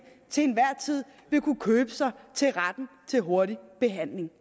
til enhver tid vil kunne købe sig til retten til hurtig behandling